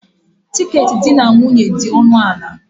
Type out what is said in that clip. Tiketi di na nwunye dị ọnụ ala.